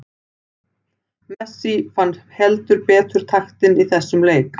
Messi fann heldur betur taktinn í þessum leik.